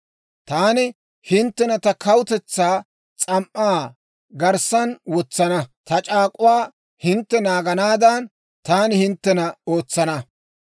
Taani hinttena ta kawutetsaa s'am"aa garssaan wotsana; ta c'aak'uwaa hintte naaganaadan, taani hinttena ootsana.